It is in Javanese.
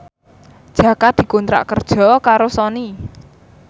Jaka dikontrak kerja karo Sony